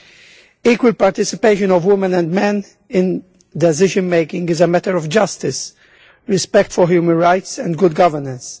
The equal participation of women and men in decision-making is a matter of justice, respect for human rights and good governance.